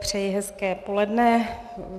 Přeji hezké poledne.